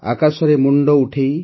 ଆକାଶରେ ମୁଣ୍ଡ ଉଠାଇ